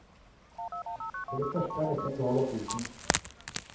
For det første er dette en gal opplysning.